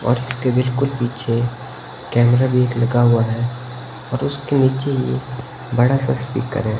और इसके बिलकुल पीछे कैमरा भी एक लगा हुआ है और उसके नीचे ही एक बड़ा सा स्पीकर है।